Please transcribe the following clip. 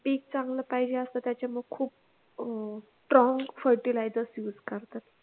पीक चांगलं पाहिजे असत त्याच्यावर ती खूप अह strong fertilizers use करतात